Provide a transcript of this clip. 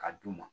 Ka d'u ma